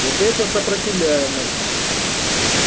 вот это сопротивляемость